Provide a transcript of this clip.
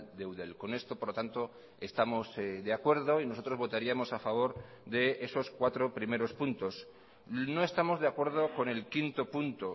de eudel con esto por lo tanto estamos de acuerdo y nosotros votaríamos a favor de esos cuatro primeros puntos no estamos de acuerdo con el quinto punto